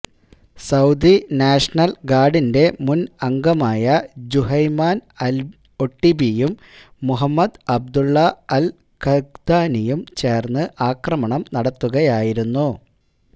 Saudi national ഗാർഡിന്റെ മുൻ അംഗമായ ജുഹൈമാൻ അൽ ഒട്ടിബിയും മുഹമ്മദ് അബ്ദുള്ള അൽ ഖഹ്താനിയും ചേർന്ന് ആക്രമണം നടത്തുകയായിരുന്നു